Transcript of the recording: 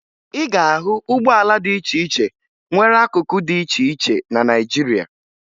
Ị ga-ahụ ụgbọala dị iche iche nwere akụkụ dị iche iche na Naịjirịa